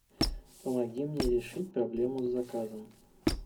помоги мне решить проблему с заказом